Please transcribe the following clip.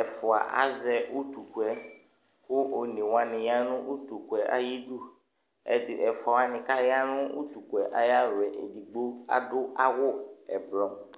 Ɛfʋa azɛ utukʋ yɛ kʋ one wanɩ ya nʋ utukʋ yɛ ayidu Ɛdɩ ɛfʋa wanɩ kʋ aya nʋ utukʋ yɛ ayalɔ, edigbo adʋ awʋ ʋblɔ